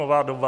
Nová doba.